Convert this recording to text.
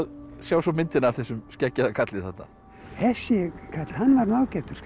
sjá svo myndina af þessum skeggjaða karli þarna þessi karl hann var nú ágætur skal